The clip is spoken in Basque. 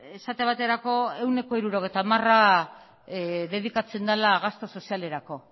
esate baterako ehuneko hirurogeita hamara dedikatzen dela gasto sozialerako